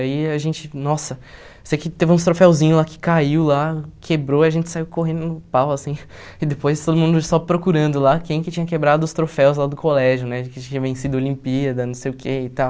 Aí a gente, nossa, sei que teve uns troféuzinho lá que caiu lá, quebrou, a gente saiu correndo no pau, assim, e depois todo mundo só procurando lá quem que tinha quebrado os troféus lá do colégio, né, que tinha vencido a Olimpíada, não sei o que e tal.